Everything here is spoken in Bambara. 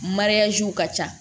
ka ca